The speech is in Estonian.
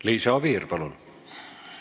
Liisa Oviir, palun!